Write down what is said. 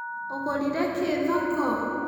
Ũgũrĩre kĩ thoko?